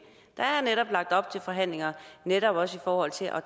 der er lagt op til forhandlinger netop også i forhold til at